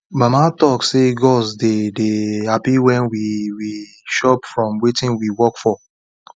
mama talk say gods dey dey happy when we we chop from wetin we work for